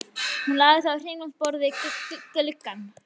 Hún lagði það á kringlótt borð við gluggann.